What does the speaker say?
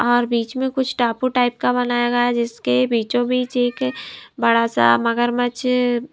और बीच में कुछ टापू टाइप का बनाया गया है जिसके बीचों-बीच एक बड़ा सा मगरमच्छ--